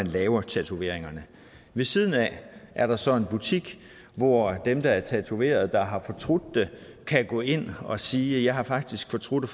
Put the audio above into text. laves tatoveringer ved siden af er der så en butik hvor dem der er blevet tatoveret og har fortrudt det kan gå ind og sige jeg har faktisk fortrudt at